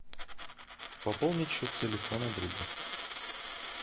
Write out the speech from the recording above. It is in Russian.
пополнить счет телефона другу